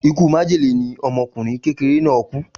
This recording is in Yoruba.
Ikú májèlé ni ọmọkùnrin kékeré náà kú.